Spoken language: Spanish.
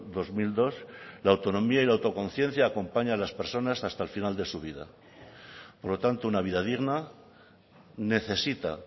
dos mil dos la autonomía y la autoconciencia acompaña a las personas hasta el final de su vida por lo tanto una vida digna necesita